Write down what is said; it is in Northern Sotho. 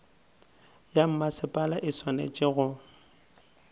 ya mmasepala e swanetše go